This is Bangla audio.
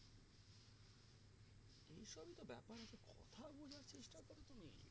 এই সবই তো ব্যাপার একটা কথা বোঝার চেষ্টা করো তুমি